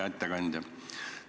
Hea ettekandja!